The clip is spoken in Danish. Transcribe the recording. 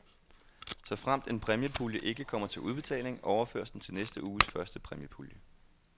Såfremt en præmiepulje ikke kommer til udbetaling, overføres den til næste uges første præmiepulje.